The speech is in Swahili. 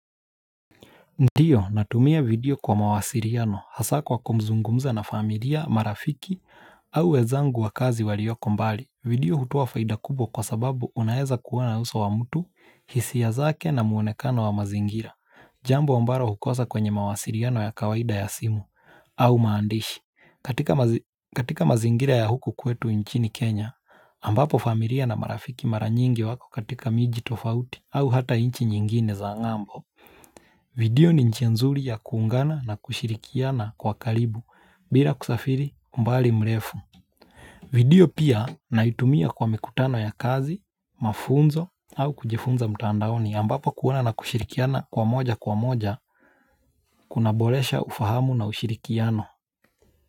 Ndio, natumia video kwa mawasiriano, hasa kwa kumzungumza na familia, marafiki, au wezangu wa kazi walioko mbali video hutoa faida kubwa kwa sababu unaeza kuona uso wa mtu, hisia zake na muonekano wa mazingira Jambo ombaro hukosa kwenye mawasiriano ya kawaida ya simu, au maandishi katika mazingira ya huku kwetu inchini Kenya, ambapo familia na marafiki mara nyingi wako katika miji tofauti, au hata inchi nyingine za ngambo video ni njia nzuli ya kuungana na kushirikiana kwa kalibu bila kusafiri mbali mrefu video pia naitumia kwa mikutano ya kazi, mafunzo au kujifunza mutandaoni ambapo kuona na kushirikiana kwa moja kwa moja kunaboresha ufahamu na ushirikiano.